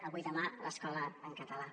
avui i demà l’escola en català